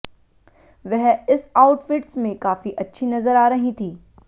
वह इस आउटफिट्स में काफी अच्छी नजर आ रही थीं